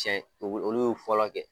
Tiɲɛ olu olu ye fɔlɔ kɛ